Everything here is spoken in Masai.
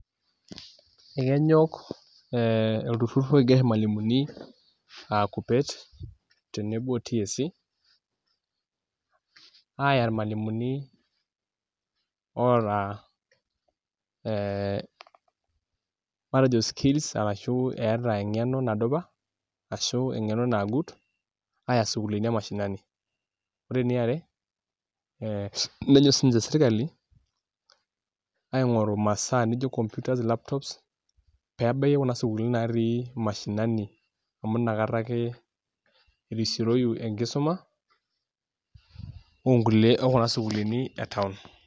Ekenyok ee olturrur oigerr irmalimuni aa KUPET tenebo o TSC aaya irmalimuni oota ee matejo skills arashu eeta eng'eno nadupa ashu eng'eno nagut aaya sukuulini emashinani ore eniare ee nenyok siinche sirkali aing'oru imasaa nijo computer, laptops pee ebaiki kuna sukuulini naatii mashinani amu nakata ake irisioroyu enkisuma onkulie okuna sukuulini e town.